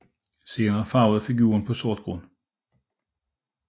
Senere farvede figurer på sort grund